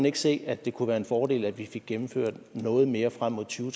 ikke se at det kunne være en fordel at vi fik gennemført noget mere frem mod to